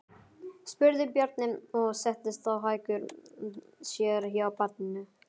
spurði Bjarni og settist á hækjur sér hjá barninu.